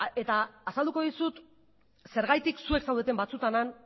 eta azalduko dizut zergatik zuek zaudeten batzuetan han